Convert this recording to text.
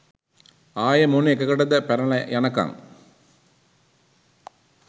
ආයෙ මොන එකකටද පැනල යනකං